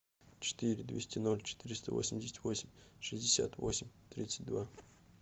четыре двести ноль четыреста восемьдесят восемь шестьдесят восемь тридцать два